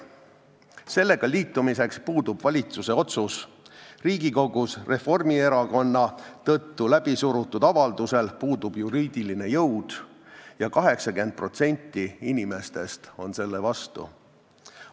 Sellega liitumiseks puudub valitsuse otsus, Riigikogus Reformierakonna tõttu läbisurutud avaldusel puudub juriidiline jõud ja 80% inimestest on selle vastu.